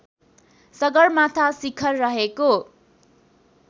सगरमाथा शिखर रहेको